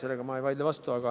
Sellele ma ei vaidle vastu.